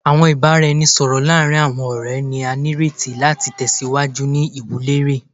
Awọn ibaraẹnisọrọ laarin awọn ọrẹ ni a nireti lati tẹsiwaju ni iwunlere